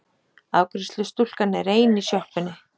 Afgreiðslustúlkan er ein í sjoppunni.